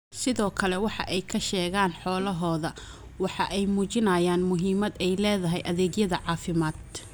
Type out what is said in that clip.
Sidoo kale waxa ay ka sheegaan xoolahooda waxa ay muujinayaan muhiimadda ay leedahay adeegyada caafimaad.